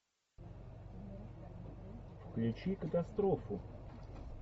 включи катастрофу